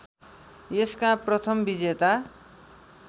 यसका प्रथम विजेता